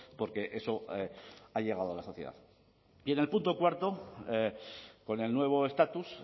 porque eso ha llegado a la sociedad y en el punto cuarto con el nuevo estatus